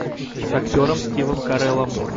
с актером стивом кареллом